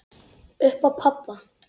Upp á pabba.